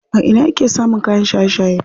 A ina yake samun kayan shaye shaye?